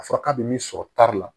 A fɔra k'a bɛ min sɔrɔ taari la